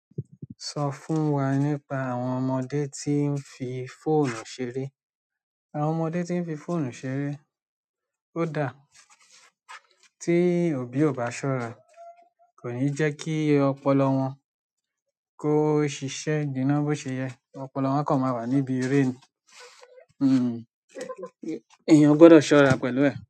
Sọ fún wa nípa àwọn ọmọdé tí ń fi fóònù ṣeré. Àwọn ọmọdé tí ń fi fóònù ṣeré ó dá. Tí òbí ò bá ṣọ́ra, kò ní jẹ́ kí ọpọlọ wọn kó ṣiṣẹ́ gina bó ṣe yẹ. Ọpọlọ wọn kò máa wà níbi eré ni. Hmm, èèyàn gbọdọ̀ ṣọ́ra pẹ̀lú ẹ̀.